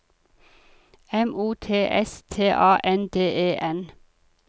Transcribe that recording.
M O T S T A N D E N